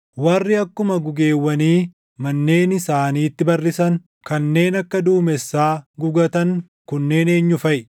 “Warri akkuma gugeewwanii manneen isaaniitti barrisan, kanneen akka duumessaa gugatan kunneen eenyu faʼi?